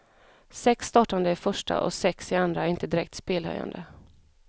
Sex startande i första och sex i andra är inte direkt spelhöjande.